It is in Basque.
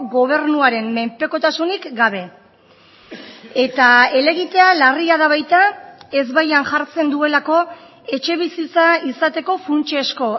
gobernuaren menpekotasunik gabe eta helegitea larria da baita ez baian jartzen duelako etxebizitza izateko funtsezko